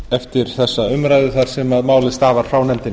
eftir þessa umræðu þar sem málið stafar frá nefndinni